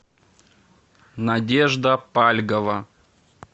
надежда пальгова